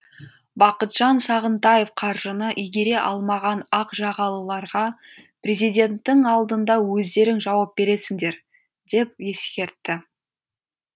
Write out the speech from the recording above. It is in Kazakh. бақытжан сағынтаев қаржыны игере алмаған ақ жағалыларға президенттің алдында өздерің жауап бересіңдер деп ескертті